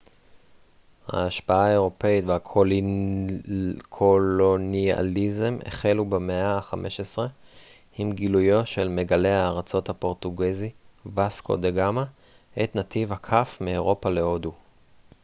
ההשפעה האירופית והקולוניאליזם החלו במאה ה-15 עם גילויו של מגלה הארצות הפורטוגזי וסקו דה גאמה את נתיב הכף מאירופה להודו